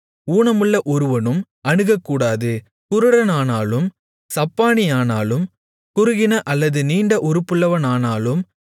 ஊனமுள்ள ஒருவனும் அணுகக்கூடாது குருடனானாலும் சப்பாணியானாலும் குறுகின அல்லது நீண்ட உறுப்புள்ளவனானாலும்